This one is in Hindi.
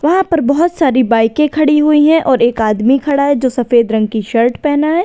वहां पर बहोत सारी बाइके खड़ी हुई है और एक आदमी खड़ा है जो सफेद रंग की शर्ट पहना है।